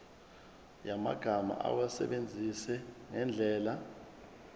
yamagama awasebenzise ngendlela